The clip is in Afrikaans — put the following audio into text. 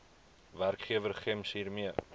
werkgewer gems hiermee